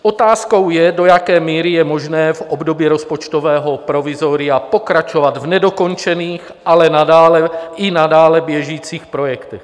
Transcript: Otázkou je, do jaké míry je možné v období rozpočtového provizoria pokračovat v nedokončených, ale i nadále běžících projektech.